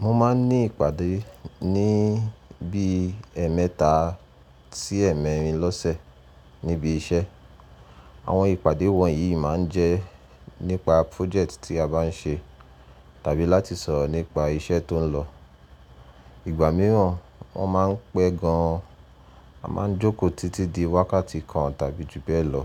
Mo máa ń ní ìpàdé ní bí ẹmẹta sí ẹ́mẹ́rìn lọ́sẹ̀ níbi iṣẹ́. Àwọn ìpàdé wọ̀nyí máa ń jẹ́ nípa project tí a bá ń ṣe tàbí láti sọ̀rọ̀ nípa iṣẹ́ tó ń lọ. Ìgbà mìíràn wọ́n máa ń pẹ́ gan an, a máa ń jókòó títí di wákàtí kan tàbí ju bẹ́ẹ̀ lọ.